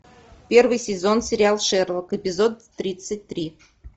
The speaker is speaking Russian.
первый сезон сериал шерлок эпизод тридцать три